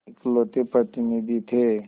इकलौते प्रतिनिधि थे